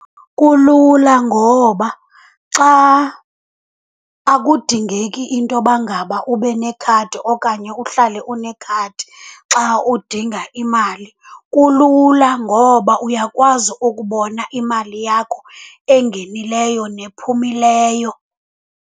Kulula ngoba xa, akudingeki intoba ngaba ube nekhadi okanye uhlale unekhadi xa udinga imali. Kulula ngoba uyakwazi ukubona imali yakho engenileyo nephumileyo.